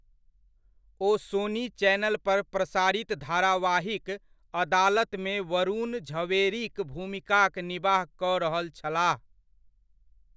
ओ Sony channel पर प्रसारित धारावाहिक अदालतमे वरुण झवेरीक भूमिकाक निबाह कऽ रहल छलाह।